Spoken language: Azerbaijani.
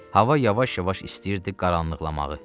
Hava yavaş-yavaş istəyirdi qaranlıqlamağı.